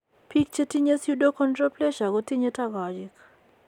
Biik chetinye pseudoachondroplasia kotinye togochik